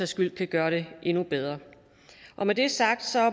skyld kan gøre det endnu bedre med det sagt